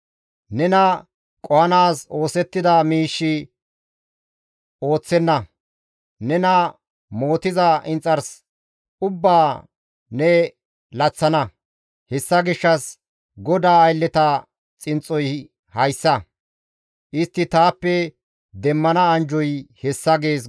Nena qohanaas oosettida miishshi ooththenna. Nena mootiza inxars ubbaa ne laththana; hessa gishshas GODAA aylleta xinxxoy hayssa; istti taappe demmana anjjoy hessa» gees.